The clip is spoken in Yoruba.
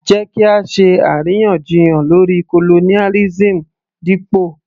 Jẹ́ kí á ṣe àríyànjiyàn lórí colonialism dípò